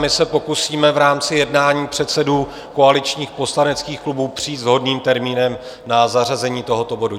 My se pokusíme v rámci jednání předsedů koaličních poslaneckých klubů přijít s vhodným termínem na zařazení tohoto bodu.